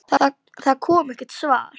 Það kom ekkert svar.